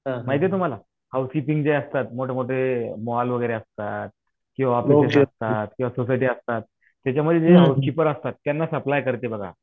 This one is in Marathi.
माहितीये तुम्हाला हाऊसकिपींग जे असतात मोठे मोठे मॉल वगैरे असतात किंवा असतात, सोसायटी असतात त्याच्यामध्ये जे हाऊसकीपर असतात त्यांना सप्लाय करते बघा